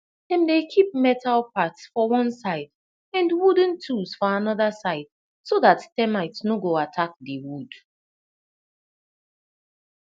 dem dey keep metal parts for one side and wooden tools for another side so that termite no go attack the wood